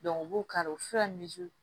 u b'u kari u bɛ fura